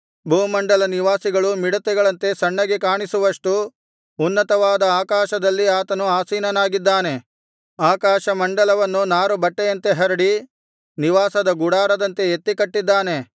ಭೂಮಂಡಲ ನಿವಾಸಿಗಳು ಮಿಡತೆಗಳಂತೆ ಸಣ್ಣಗೆ ಕಾಣಿಸುವಷ್ಟು ಉನ್ನತವಾದ ಆಕಾಶದಲ್ಲಿ ಆತನು ಆಸೀನನಾಗಿದ್ದಾನೆ ಆಕಾಶಮಂಡಲವನ್ನು ನಾರುಬಟ್ಟೆಯಂತೆ ಹರಡಿ ನಿವಾಸದ ಗುಡಾರದಂತೆ ಎತ್ತಿ ಕಟ್ಟಿದ್ದಾನೆ